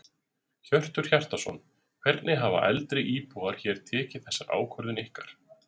Hjörtur Hjartarson: Hvernig hafa eldri íbúar hér tekið þessar ákvörðun ykkar?